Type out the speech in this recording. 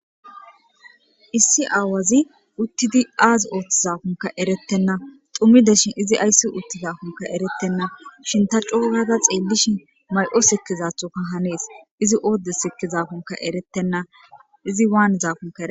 Issi aawazi uttidi aazi ooththizakunka erettenna tumideshin izi ayssi uttizakunka erettenna shinta coogaga xeellishin may7o sikizathoka hanees izi oodde sikkizaakunka erettenna.